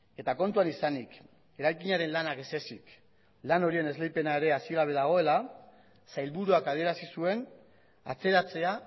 eta kontuan izanik eraikinaren lanak ezezik lan horien esleipena ere hasi gabe dagoela sailburuak adierazi zuen atzeratzea